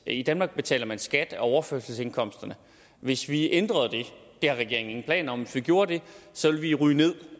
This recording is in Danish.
i danmark betaler man skat af overførselsindkomsterne hvis vi ændrede det det har regeringen ingen planer om men hvis vi gjorde det så ville vi ryge ned